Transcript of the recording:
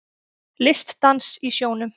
Listdans í sjónum